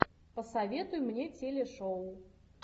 посоветуй мне телешоу